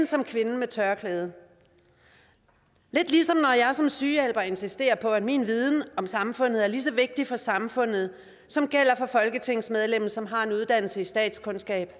som kvinden med tørklædet lidt ligesom når jeg som sygehjælper insisterer på at min viden om samfundet er lige så vigtig for samfundet som folketingsmedlemmets som har en uddannelse i statskundskab